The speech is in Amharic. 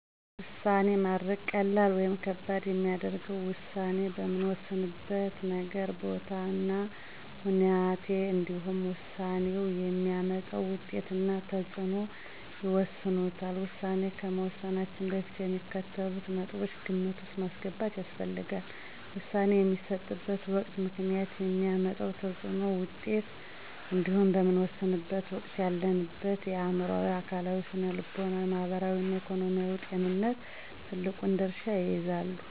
ውሳኔ ማድረግ ቀላል ወይም ከባድ የሚያደርገው ውሳኔ በምንወስንበት ነገር፣ ቦታ እና ሁናቴ እንዲሁም ውሳኔው የሚያመጣው ውጤት እና ተፅዕኖ ይወስኑታል። ውሳኔ ከመወሰናችን በፊት የሚከተሉትን ነጥቦች ግምት ውስጥ ማስገባት ያስፈልጋል። - ውሳኔ የሚሰጥበት ወቅት፣ ምክንያት፣ የሚያመጣው ተፅዕኖና ውጤት እንዲሁም በምንወሰንበት ወቅት ያለንበት አዕምሮአዊ፣ አካላዊ፣ ስነልቦናዊ፣ ማህበራዊ እና ኢኮኖሚያዊ ጤንነት ትልቁን ድርሻ ይይዛሉ።